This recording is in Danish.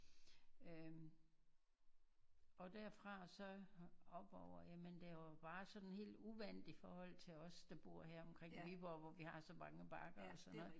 Øh og derfra så op over ja men det var jo bare sådan helt uvandt i forhold os der bor her omkring Viborg hvor vi har så mange bakker og sådan noget